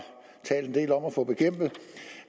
talt en del om at få bekæmpet